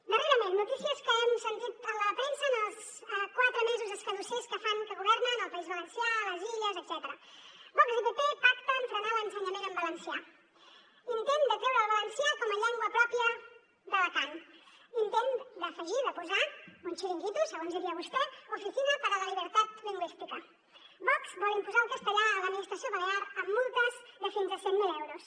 darrerament notícies que hem sentit a la premsa en els quatre mesos escadussers que fan que governen al país valencià a les illes etcètera vox i pp pacten frenar l’ensenyament en valencià intent de treure el valencià com a llengua pròpia d’alacant intent d’afegir de posar un xiringuito segons diria vostè oficina para la libertad lingüística vox vol imposar el castellà a l’administració balear amb multes de fins a cent mil euros